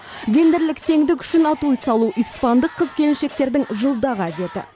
гендерлік теңдік үшін атой салу испандық қыз келіншектердің жылдағы әдеті